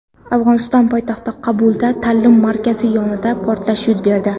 Afg‘oniston poytaxti Qobulda ta’lim markazi yonida portlash yuz berdi.